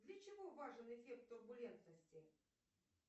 для чего важен эффект турбулентности